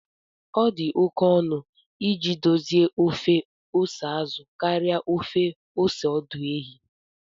Ọ dị oke ọnụ iji dozie ofe ose azụ karịa ofe ose ọdụ ehi